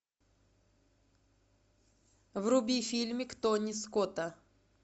вруби фильмик тони скотта